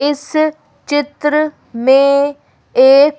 इस चित्र में एक--